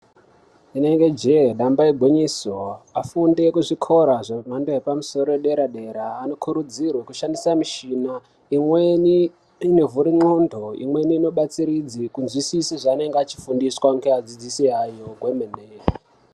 Rinenge jee damba igwinyiso, afundi ekuzvikora zvemhando yepamusoro nepadera-dera, anokurudzirwa kushandisa mishina imweni inovhure ndxondo, imweni inobatsiridze kunzwisise zveanenge achifundiswa ngeadzidzisi ayo kwemene.